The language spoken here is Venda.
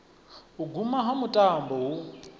u guma ha mutambo hu